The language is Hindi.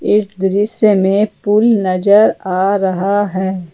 इस दृश्य में पुल नजर आ रहा है।